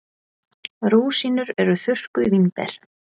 Rúsínur eru þurrkuð vínber.